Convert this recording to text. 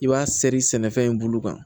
I b'a sɛri sɛnɛfɛn in bolo kan